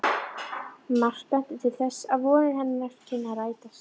Margt benti til þess, að vonir hennar kynnu að rætast.